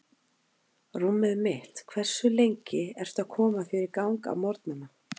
Rúmið mitt Hversu lengi ertu að koma þér í gang á morgnanna?